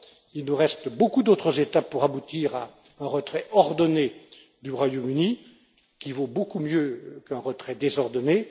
Il nous reste beaucoup d'autres étapes pour aboutir à un retrait ordonné du Royaume Uni, qui vaut beaucoup mieux qu'un retrait désordonné.